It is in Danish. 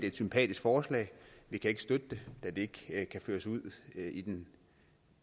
et sympatisk forslag vi kan ikke støtte det da det ikke kan føres ud i den